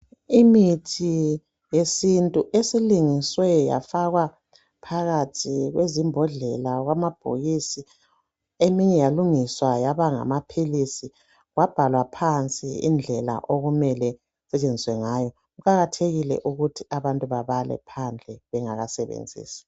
Imithi yesintu esilungiswe yafakwa phakathi kwezimbodlela kwamabhokisi, eminye yalungiswa yaba ngamaphilisi kwabhalwa phansi indlela okumele isetshenziswe ngayo kuqakathekile ukuthi abantu babale phandle bengakasebenzisi